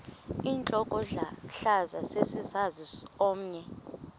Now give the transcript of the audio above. intlokohlaza sesisaz omny